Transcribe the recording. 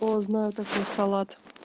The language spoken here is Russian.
о знаю такой салат